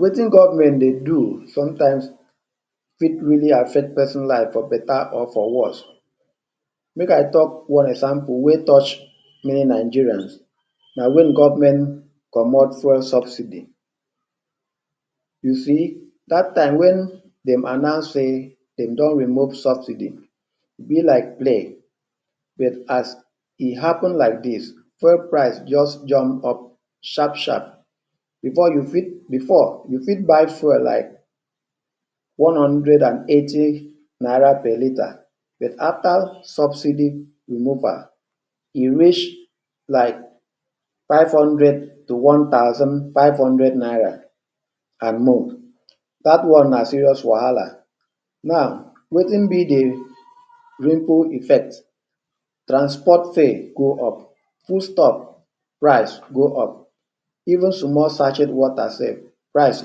Wetin government dey do sometimes fit really affect person life for better or for worse. Make I talk one example wey touch many Nigerians, na wen government comot fuel subsidy. You see, dat time wen dem announce say dem don remove subsidy, e be like play but as e happen like dis, fuel price just jump up sharp sharp. Before you fit, before you fit buy fuel like one hundred and eighty naira per liter but after subsidy removal, e reach like five hundred to one thousand five hundred naira? Dat one na serious wahala. Now wetin be de ripple effect?. Transport fare go up, foodstuff rise go up, even small sachet water sef rise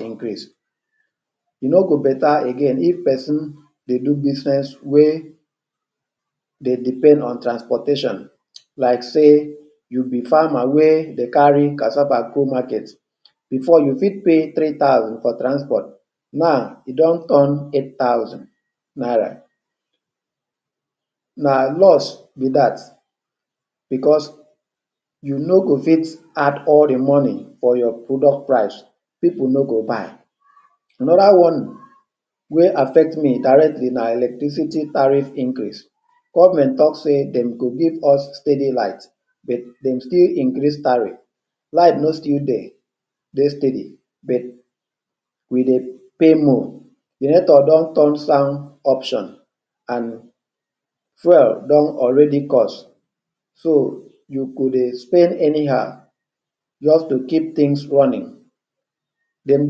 increase. E no go better again if person dey do business wey dem depend on transportation like sey you be farmer wey dey carry cassava go market. Before you fit pay three thousand for transport. Now,e don turn eight thousand naira. Na loss be dat because you no go fit add all de money for your product price, pipu no go buy. Another one wey affect me directly na electricity tariff increase. Government talk say dem go give us steady light but dem still increase tariff, light no still dey dey steady but we dey pay more. Generator don turn sound option and fuel don already cost. So you go dey spend anyhow just to keep things running. Dem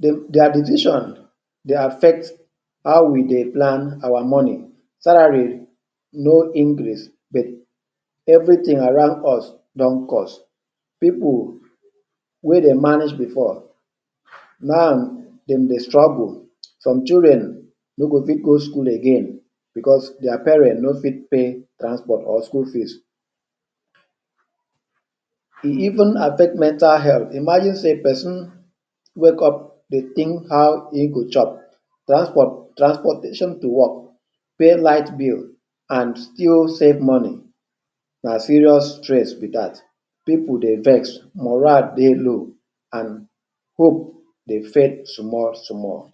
their decision dey affect how we dey plan our money. Salary no increase but everything around us don cost. Pipu wey dey manage before, now dem dey struggle. Some children no go fit go school again because their parents no fit pay transport or school fees. E even affect mental health. Imagine sey person wake up dey think how e go chop, transport transportation to work, pay light bills and still save money, na serious stress be dat. Pipu dey vex, morale dey low and hope dey fade small small.